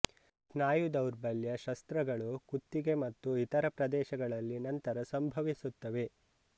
ಸ್ನಾಯು ದೌರ್ಬಲ್ಯ ಶಸ್ತ್ರಗಳು ಕುತ್ತಿಗೆ ಮತ್ತು ಇತರ ಪ್ರದೇಶಗಳಲ್ಲಿ ನಂತರ ಸಂಭವಿಸುತ್ತದೆ